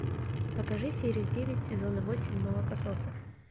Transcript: покажи серию девять сезона восемь молокососы